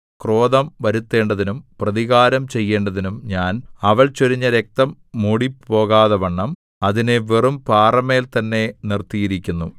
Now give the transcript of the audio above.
ക്രോധം വരുത്തേണ്ടതിനും പ്രതികാരം ചെയ്യേണ്ടതിനും ഞാൻ അവൾ ചൊരിഞ്ഞ രക്തം മൂടിപ്പോകാതവണ്ണം അതിനെ വെറും പാറമേൽ തന്നെ നിർത്തിയിരിക്കുന്നു